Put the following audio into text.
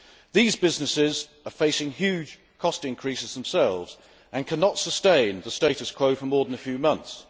These businesses are facing huge cost increases themselves and cannot sustain the status quo for more than a few months.